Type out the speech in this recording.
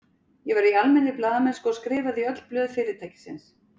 Ég var í almennri blaðamennsku og skrifaði í öll blöð fyrirtækisins.